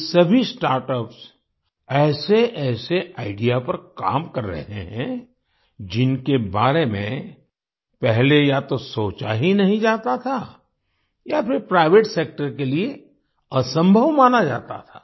ये सभी स्टार्टअप्स ऐसेऐसे आईडीईए पर काम कर रहे हैं जिनके बारे में पहले या तो सोचा ही नहीं जाता था या फिर प्राइवेट सेक्टर के लिए असंभव माना जाता था